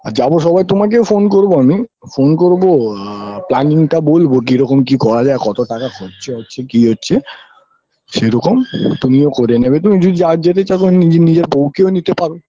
আর যাবো সময় তোমাকেও phone করব আমি phone করব আ planning -টা বলবো কিরকম কি করা যায় কতো টাকা খরচা হচ্চে কি হচ্চে সেরকম তুমিও করে নেবে তুমি যা যেতে চাকো নিজে নিজের বউ কেও নিতে পারো